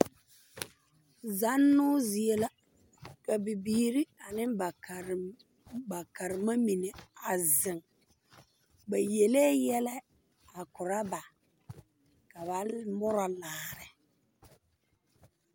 Zannoo zie la ka bibiire ane ba karema mine a zeŋ ba yelee yɛlɛ a korɔ ba ka ba murɔ laare .